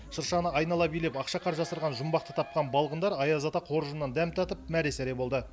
шыршаны айнала билеп ақшақар жасырған жұмбақты тапқан балғындар аяз ата қоржынынан дәм татып мәре сәре болды